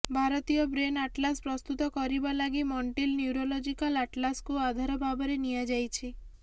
ଭାରତୀୟ brain atlas ପ୍ରସ୍ତୁତ କରିବା ଲାଗି ମଣ୍ଟ୍ରିଲ୍ ନ୍ୟୁରୋଲୋଜିକାଲ୍ ଆଟଲାସ୍ କୁ ଆଧାର ଭାବରେ ନିଆଯାଇଛି